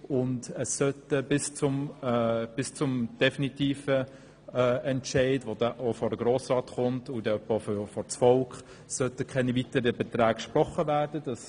Bis zum definitiven Entscheid sollen keine weiteren Beträge gesprochen werden, und dieser kommt dann auch vor den Grossen Rat und dann vor das Volk.